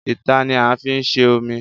Ítà ni a fí ń se omi